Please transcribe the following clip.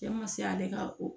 Cɛ ma se ale ka o